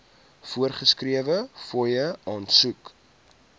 voorgeskrewe fooie aansoek